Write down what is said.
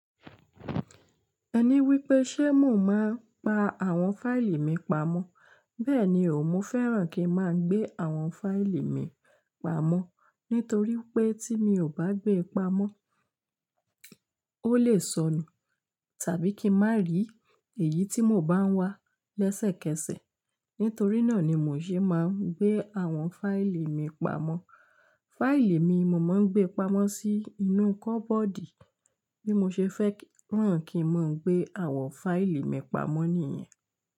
Ẹni wípé sé mo máa ń pa àwọn fáìlì mi pamọ́. Bẹ́ẹ̀ni o, mo fẹ́ràn kí n máa gbé àwọn fáìlì mi pamọ́. Nítorí pé tí mi ò bá gbé pamọ́, ó lè sọnù tàbí kí n má rí èyí tí mò ń bá wá lẹ́sẹ̀kẹsẹ̀. Nítorí náà ni mò ń ṣe máa ń gbé àwọn fáìlì mi pamọ́. Fáìlì mi, mo máa ń gbé pamọ́ sínú kọ́bọ́ọ̀dì bí mo ṣe fẹ́ràán kí n máa gbé àwọn fáìlì mi pamọ́ nìyẹn.